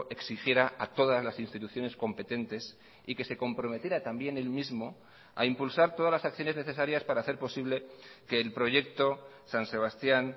exigiera a todas las instituciones competentes y que se comprometiera también él mismo a impulsar todas las acciones necesarias para hacer posible que el proyecto san sebastián